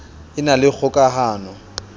e na le kgoka hano